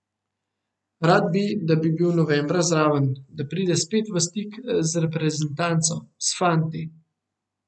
Rad bi, da bi bil novembra zraven, da pride spet v stik z reprezentanco, s fanti.